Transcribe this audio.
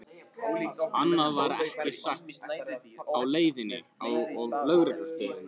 Annað var ekki sagt á leiðinni á lögreglustöðina.